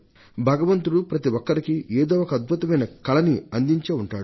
భగవంతుడు ప్రతి ఒక్కరికీ ఏదో ఒక అద్భుతమైన కళని అందించే ఉంటాడు